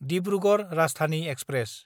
Dibrugarh Rajdhani express